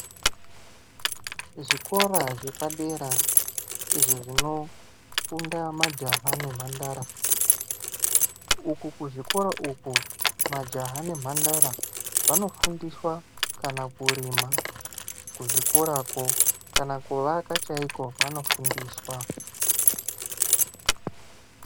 Zvikora zvepadera izvo zvinofunda majaya nemhandara , uku kuzvikora uku majaya nemhandara vanofundiswa kana kurima kuzvikorako kana kuvaka chaiko vanofundiswa.